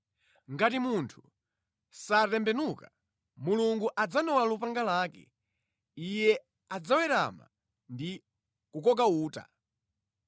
Ngati munthu satembenuka, Mulungu adzanola lupanga lake, Iye adzawerama ndi kukoka uta.